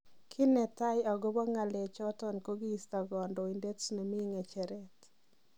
kii netai agobo ng'alechoton ko kisto Kandoinatet nemi ngecheret.